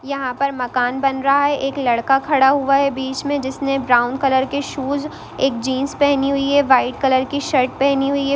यहाँ पर मकान बन रहा है एक लड़का खड़ा हुआ है बीच में जिसने ब्राउन कलर के शूज एक जीन्स पहनी हुई है वाइट कलर की शर्ट पहनी हुई है।